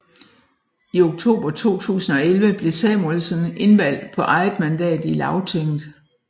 I oktober 2011 blev Samuelsen indvalgt på eget mandat i Lagtinget